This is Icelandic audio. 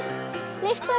af